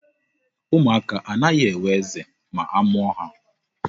Ụmụaka anaghị enwe eze ma a mụọ ha.